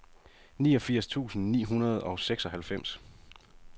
niogfirs tusind ni hundrede og seksoghalvfems